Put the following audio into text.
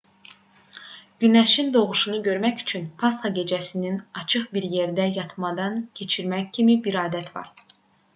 günəşin doğuşunu görmək üçün pasxa gecəsinin açıq bir yerdə yatmadan keçirmək kimi bir adət var